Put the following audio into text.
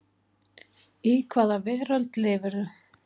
Í hvaða veröld lifirðu?